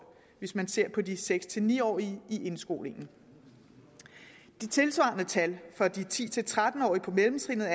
hvis man ser på de seks ni årige i indskolingen de tilsvarende tal for de ti til tretten årige på mellemtrinnet